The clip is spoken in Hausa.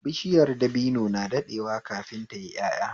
Bishiyar dabino na daɗewa kafin tayi ƴaƴa